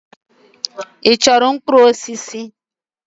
Ị chọrọ mkpụrụ osisi?